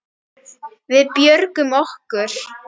Við björgum okkur.